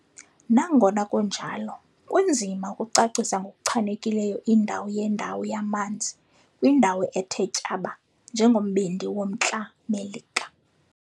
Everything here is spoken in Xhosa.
Nangona kunjalo, kunzima ukucacisa ngokuchanekileyo indawo yendawo yamanzi kwindawo ethe tyaba njengombindi woMntla Melika.